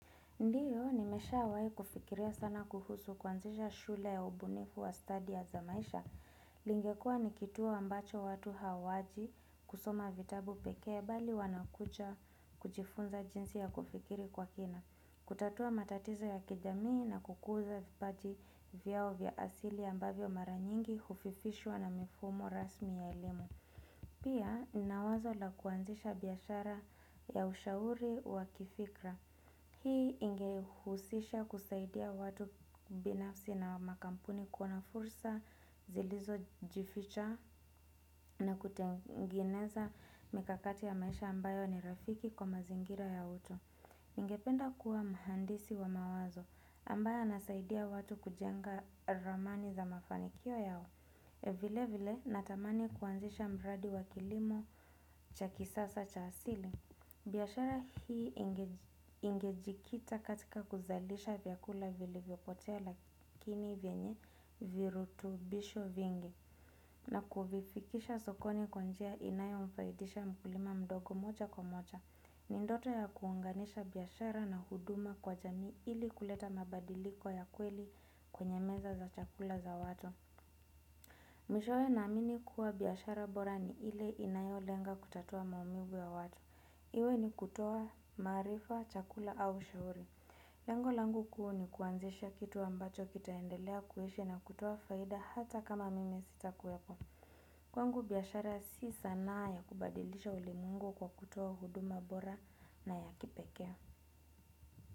Ndio, nimeshawahi kufikiria sana kuhusu kuanzisha shule ya ubunifu wa stadi za maisha. Ingekuwa nikituo ambacho watu hawaji kusoma vitabu pekee bali wanakuja, kujifunza jinsi ya kufikiri kwa kina. Kutatua matatizo ya kijamii na kukuza vipaji vyao vya asili ambavyo mara nyingi hufifishwa na mifumo rasmi ya elimu. Pia, nina wazo la kuanzisha biashara ya ushauri wa kifikra. Hii ingehusisha kusaidia watu binafsi na makampuni. Kuna fursa zilizojificha na kutengeneza mikakati ya maisha ambayo ni rafiki kwa mazingira ya uto. Ningependa kuwa mhandisi wa mawazo, ambaye anasaidia watu kujenga ramani za mafanikio yao. Vile vile, natamani kuanzisha mradi wa kilimo cha kisasa cha asili. Biashara hii ingejikita katika kuzalisha vyakula vilivyopotea lakini vyenye virutubisho vingi. Na kuifikisha sokoni kwa njia inayomfaidisha mkulima mdogo moja kwa moja ni ndoto ya kuunganisha biashara na huduma kwa jamii ili kuleta mabadiliko ya kweli kwenye meza za chakula za watu. Mwishowe naamini kuwa biashara bora ni ile inayolenga kutatua maumivu ya watu. Iwe ni kutoa maarifa, chakula au ushauri. Lengo langu kuu ni kuanzisha kitu ambacho kitaendelea kuishi na kutoa faida hata kama mimi sitakuwapo. Kwangu biashara si sanaa ya kubadilisha ulimwengu kwa kutoa huduma bora na ya kipekee.